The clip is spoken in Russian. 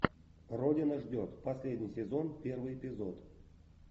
родина ждет последний сезон первый эпизод